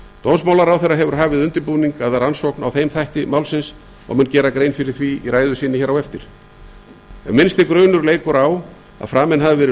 dómsmálaráðherra hefur hafið undirbúning að rannsókn á þeim þætti málsins og mun gera grein fyrir því í ræðu sinni á eftir ef minnsti grunur leikur á því að framin hafi verið